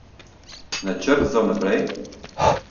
Načrt za vnaprej?